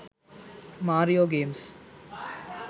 mario games